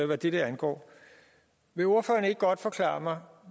hvad dette angår vil ordføreren ikke godt forklare mig